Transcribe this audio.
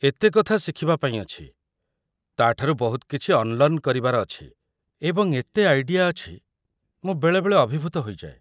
ଏତେ କଥା ଶିଖିବା ପାଇଁ ଅଛି, ତା'ଠାରୁ ବହୁତ କିଛି ଅନ୍‌ଲର୍ନ କରିବାର ଅଛି, ଏବଂ ଏତେ ଆଇଡିଆ ଅଛି, ମୁଁ ବେଳେବେଳେ ଅଭିଭୂତ ହୋଇଯାଏ।